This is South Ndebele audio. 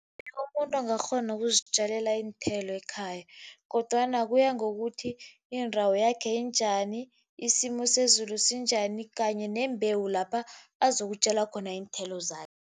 Umuntu angakghona ukuzitjalela iinthelo ekhaya kodwana kuya ngokuthi indawo yakhe injani, isimo sezulu sinjani kanye nembewu lapha azokutjala khona iinthelo zakhe.